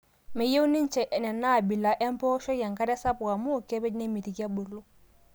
Meyieu ninche Nena abila empooshoi enkare sapuk amuu kepej nemitiki ebulu.